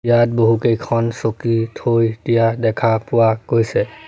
তাত বহুকেইখন চকী থৈ দিয়া দেখা পোৱা গৈছে।